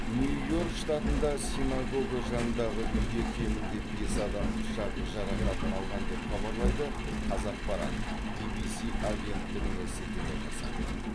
нью йорк штатында синагого жанындағы үйде кемінде бес адам пышақ жарақатын алған деп хабарлайды қазақпарат ввс агенттігіне сілтеме жасап